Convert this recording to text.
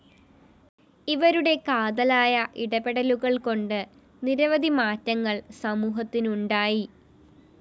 ഇവരുടെ കാതലായ ഇടപെടലുകള്‍കൊണ്ട് നിരവധിമാറ്റങ്ങള്‍ സമൂഹത്തിനുണ്ടായി്